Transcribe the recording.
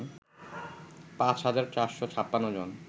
৫ হাজার ৪৫৬ জন